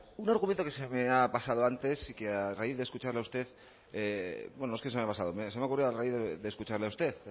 un argumento que se me ha pasado antes y que a raíz de escucharle a usted bueno no es que se me haya pasado se me ha ocurrido a raíz de escucharle a usted